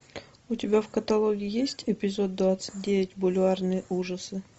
у тебя в каталоге есть эпизод двадцать девять бульварные ужасы